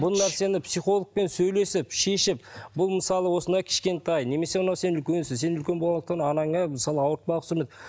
бұл нәрсені психологпен сөйлесіп шешіп бұл мысалы осындай кішкентай немесе сен үлкенсің сен үлкен болғандықтан анаңа мысалы ауыртпалық түсірме